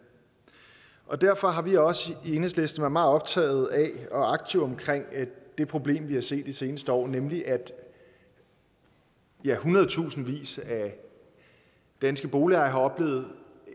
og derfor har vi også i enhedslisten være meget optaget af og aktive omkring det problem vi har set i de seneste år nemlig at ja hundrede tusinder af danske boligejere har oplevet